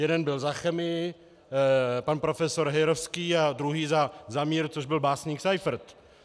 Jeden byl za chemii, pan profesor Heyrovský a druhý za mír, což byl básník Seifert.